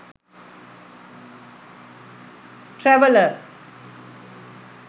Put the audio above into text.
traveler